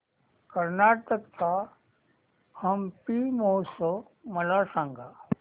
कर्नाटक चा हम्पी महोत्सव मला सांग